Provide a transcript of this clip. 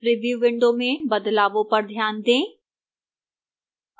preview window में बदलावों पर ध्यान दें